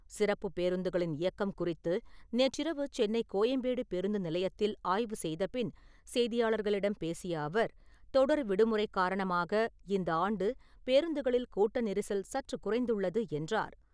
சிறப்புப் பேருந்துகளின் இயக்கம் குறித்து நேற்றிரவு சென்னை கோயம்பேடு பேருந்து நிலையத்தில் ஆய்வு செய்தபின் செய்தியாளர்களிடம் பேசிய அவர், தொடர் விடுமுறை காரணமாக இந்த ஆண்டு பேருந்துகளில் கூட்ட நெரிசல் சற்று குறைந்துள்ளது என்றார்.